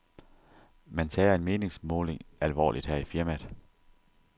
Man tager en meningsmåling alvorligt her i firmaet.